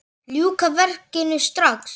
Ljúka verkinu strax!